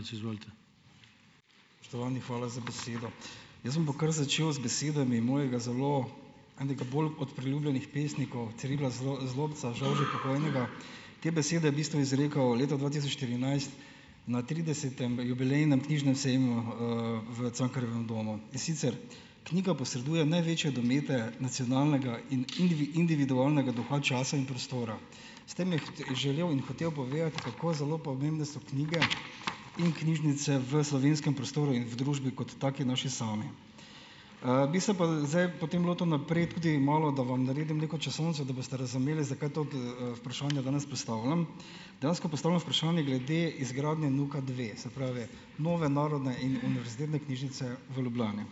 Spoštovani, hvala za besedo. Jaz bom pa kar začel z besedami mojega zelo, enega bolj od priljubljenih pesnikov, Cirila Zlobca, žal že pokojnega. Te besede je bistvu izrekel leta dva tisoč štirinajst na tridesetem jubilejnem knjižnem sejmu, v Cankarjevem domu. In sicer: "Knjiga posreduje največje domete nacionalnega in individualnega duha časa in prostora." S tem je želel in hotel povedati, kako zelo pomembne so knjige in knjižnice v slovenskem prostoru in v družbi, kot taki naši sami. bi se pa zdaj, potem lotil naprej tudi malo, da vam naredim neko časovnico, da boste razumeli, zakaj to vprašanje danes postavljam. Dejansko postavljam vprašanje glede izgradnje NUK-a dve - se pravi, nove Narodne in univerzitetne knižnjice v Ljubljani.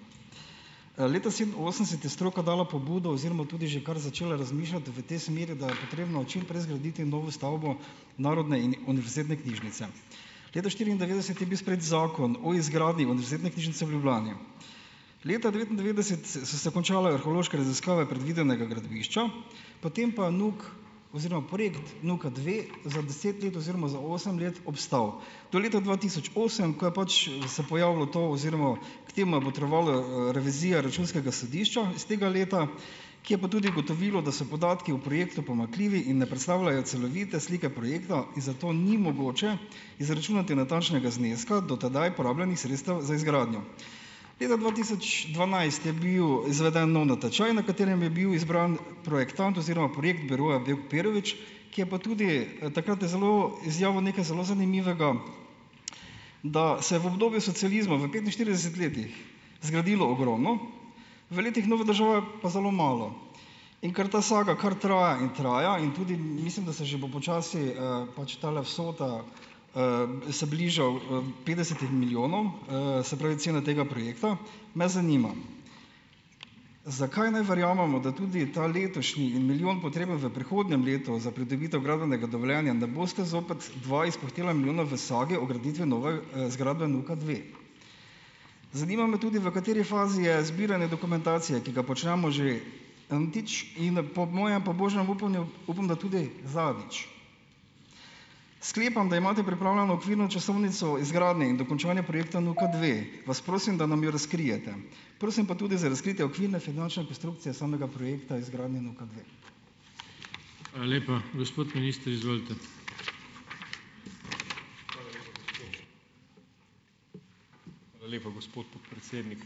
Leta sedeminosemdeset je stroka dala pobudo oziroma tudi že kar začela razmišljati v tej smeri, da je potrebno čim prej zgraditi novo stavbo Narodne in univerzitetne knižnjice. Leta štiriindevetdeset je bil sprejet Zakon o izgradnji univerzitetne knižnjice v Ljubljani. Leta devetindevetdeset so se končale arheološke raziskave predvidenega gradbišča, potem pa je NUK oziroma projekt NUK-a dve za deset let oziroma za osem let obstal, do leta dva tisoč osem, ko je pač se pojavilo to, oziroma k temu je botrovala, revizija Računskega sodišča iz tega leta, ki je pa tudi ugotovilo, da so podatki o projektu pomanjkljivi in ne predstavljajo celovite slike projekta in zato ni mogoče izračunati natančnega zneska do tedaj porabljenih sredstev za izgradnjo. Leta dva tisoč dvanajst je bil izveden nov natečaj, na katerem je bil izbran projektant oziroma projekt Biroja Bevk Perović, ki je pa tudi, takrat je zelo, izjavil nekaj zelo zanimivega, da se v obdobju socializma, v petinštirideset letih zgradilo ogromno, v letih nove države pa zelo malo, in ker ta saga kar traja in traja in tudi, mislim, da se že bo počasi, pač tale vsota, se bliža, petdesetim milijonom, se pravi, cena tega projekta, me zanima, zakaj naj verjamemo, da tudi ta letošnji in milijon, potreben v prihodnjem letu, za pridobitev gradbenega dovoljenja, ne boste zopet dva izpuhtela, milijona, v sage o graditvi nove, zgradbe NUK-a dve. Zanima me tudi, v kateri fazi je zbiranje dokumentacije, ki ga počnemo že "n-tič" in po mojem pobožnem upanju, upam, da tudi zadnjič. Sklepam, da imate pripravljeno okvirno časovnico o izgradnji in dokončanju projekta NUK-a dve. Vas prosim, da nam jo razkrijete. Prosim pa tudi za razkritje okvirne finančne konstrukcije samega projekta izgradnje NUK-a dve.